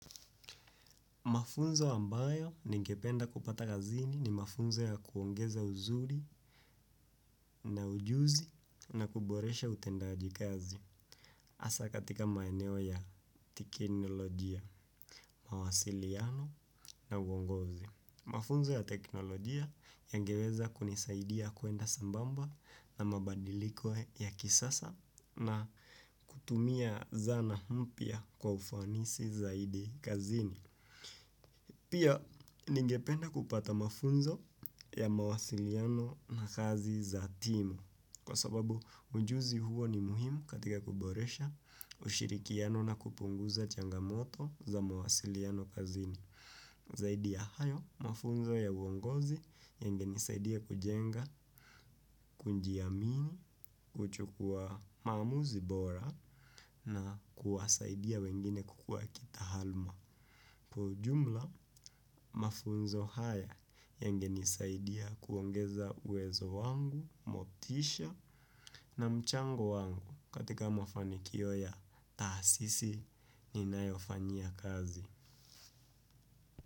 Mafunzo ambayo ningependa kupata kazini ni mafunzo ya kuongeza uzuri na ujuzi na kuboresha utendaji kazi hasa katika maeneo ya teknolojia, mawasiliano na uongozi. Mafunzo ya teknolojia yangeweza kunisaidia kuenda sambamba na mabadiliko ya kisasa na kutumia zana mpya kwa ufanisi zaidi kazini. Pia ningependa kupata mafunzo ya mawasiliano na kazi za timu kwa sababu ujuzi huo ni muhimu katika kuboresha ushirikiano na kupunguza changamoto za mawasiliano kazini. Zaidi ya hayo, mafunzo ya uongozi yangenisaidia kujenga kujiamini, kuchukua maamuzi bora na kuwasaidia wengine kukua kitaaluma. Kwa ujumla, mafunzo haya yangenisaidia kuongeza uwezo wangu, motisha na mchango wangu katika mafanikio ya taasisi ninayofanyia kazi.